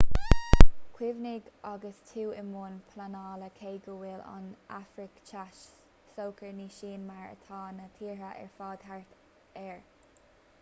cuimhnigh agus tú i mbun pleanála cé go bhfuil an afraic theas socair ní shin mar atá na tíortha ar fad thart air